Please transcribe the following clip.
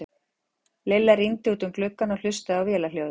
Lilla rýndi út um gluggann og hlustaði á vélarhljóðið.